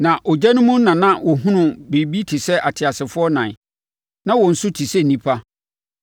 Na ogya no mu na na wɔhunu biribi te sɛ ateasefoɔ ɛnan. Na wɔn su te sɛ onipa,